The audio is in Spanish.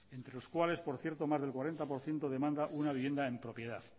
entre los cuales por cierto más del cuarenta por ciento demanda una vivienda en propiedad